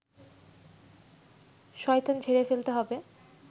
শয়তান ঝেড়ে ফেলতে হবে